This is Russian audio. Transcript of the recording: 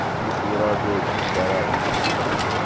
бушили разочек в саратове здесь